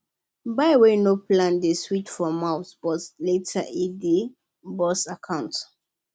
buy wey no plan dey sweet for mouth but later e dey burn account